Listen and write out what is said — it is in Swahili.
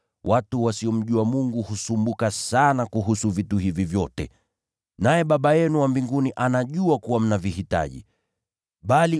Watu wa mataifa ya duniani husumbuka sana kuhusu vitu hivi vyote, lakini Baba yenu anafahamu kuwa mnahitaji haya yote.